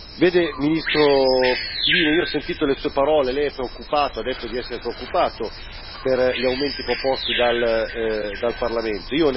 Vede, ministro Kivine, io ho sentito le Sue parole Lei è preoccupato, ha detto di essere preoccupato per gli aumenti proposti dal Parlamento.